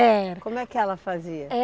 É. Como é que ela fazia?